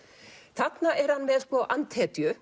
þarna er hann með